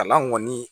Kalan kɔni